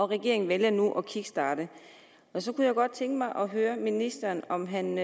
regering vælger nu at kickstarte så kunne jeg godt tænke mig at høre ministeren om den